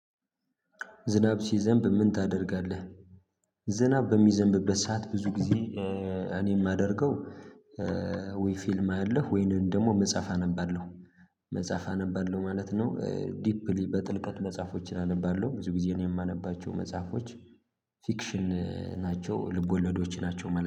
ዝናብ ሲዘንብ ምን ታደርጋለህ? ዝናብ በሚዘንብበት ሰዓት ብዙ ጊዜ። እኔ የማደርገው። ወይ ፊልም አያለሁ ወይንም ደግሞ መጽሐፍ አነባለሁ። መጽሐፍ አነባለሁ ማለት ነው። ዲፕሊ በጥልቀት መጽሐፎችን አነባለሁ ብዙ ጊዜ እኔ የማነባቸው መጽሐፎች። ፊክሽን ናቸው ልብ ወለዶች ናቸው